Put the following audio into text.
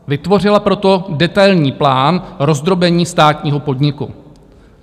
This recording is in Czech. Vytvořila proto detailní plán rozdrobení státního podniku.